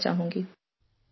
"